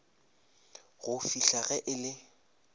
go fihla ge e le